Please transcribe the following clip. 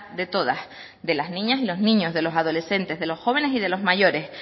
de todas de las niñas y los niños de los adolescentes de los jóvenes y de los mayores